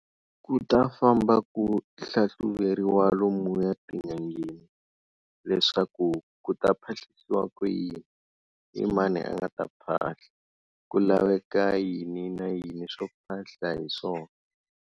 Ku ta famba ku hlahluveriwa lomuya tin'angeni leswaku ku ta phahlisiwa ku yini, i mani a nga ta phahla, ku laveka yini na yini swo phahla hi swona.